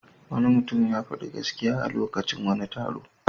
Wani mutum ya faɗi gaskiya a lokacin wani taro.